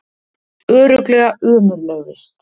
Örugglega ömurleg vist